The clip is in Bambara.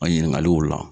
An ɲininkaliw la